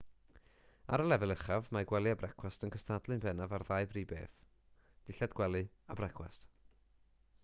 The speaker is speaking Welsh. ar y lefel uchaf mae gwely a brecwast yn cystadlu'n bennaf ar ddau brif beth dillad gwely a brecwast